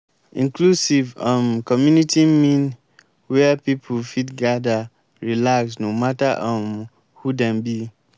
inclusive um community mean where pipo fit gadir relax no matter um who dem be.